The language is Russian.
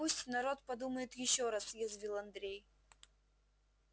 пусть народ подумает ещё раз язвил андрей